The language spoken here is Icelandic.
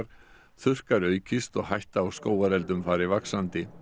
þurrkar aukist og hætta á skógareldum fari vaxandi